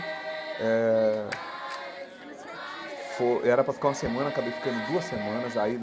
Eh foi era para ficar uma semana, acabei ficando duas semanas aí.